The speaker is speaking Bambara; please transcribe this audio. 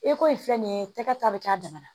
Eko in filɛ nin ye tɛgɛ ta bɛ kɛ a damana